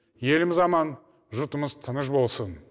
еліміз аман жұртымыз тыныш болсын